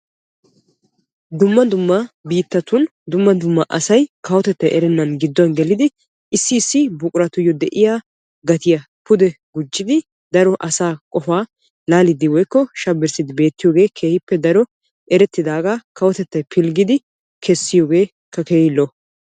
Dumma dumma biittatun dumma dumma asay kawotettay erennan gidduwan gelidi issi issi buquratuyoo de"iyaa gatiyaa pude gujjidi daro asaa qofaa laaliiddi woykko shabbirssiiddi beettiyooge keehippe daro erettidaagaa kawotettay pilggidi kessiyoogeekka keehi lo"o.